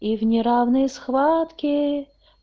и в неравной схватке